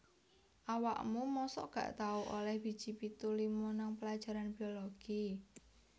Awakmu mosok gak tau oleh biji pitu lima nang pelajaran biologi?